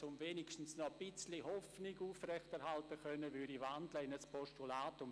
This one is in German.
Um wenigstens noch etwas Hoffnung aufrechterhalten zu können, würde ich die Motion in ein Postulat wandeln.